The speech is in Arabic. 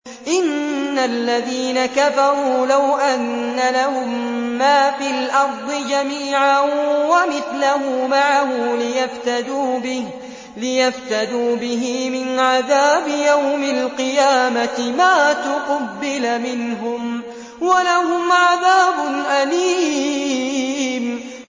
إِنَّ الَّذِينَ كَفَرُوا لَوْ أَنَّ لَهُم مَّا فِي الْأَرْضِ جَمِيعًا وَمِثْلَهُ مَعَهُ لِيَفْتَدُوا بِهِ مِنْ عَذَابِ يَوْمِ الْقِيَامَةِ مَا تُقُبِّلَ مِنْهُمْ ۖ وَلَهُمْ عَذَابٌ أَلِيمٌ